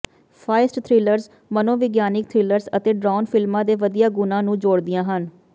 ਫਾਈਸਟ thrillers ਮਨੋਵਿਗਿਆਨਕ thrillers ਅਤੇ ਡਰਾਉਣ ਫਿਲਮਾਂ ਦੇ ਵਧੀਆ ਗੁਣਾਂ ਨੂੰ ਜੋੜਦੀਆਂ ਹਨ